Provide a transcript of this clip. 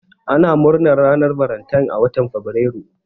Ana murnar ranar valentine a watan fabrairu.